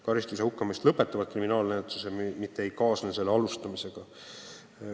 Karistusena hukkamise määramine lõpetab kriminaalmenetluse, mitte ei kaasne selle alustamisega.